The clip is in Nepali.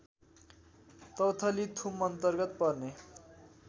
तौथली थुमअन्तर्गत पर्ने